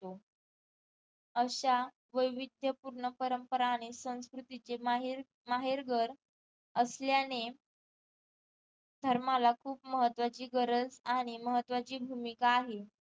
तो अश्या वैविध्य पूर्ण परंपरांमुळे संस्कृतीचे माहीर माहेरघर असल्याने धर्माला खूप महत्त्वाची गरज आणि महत्त्वाची भूमिका आहे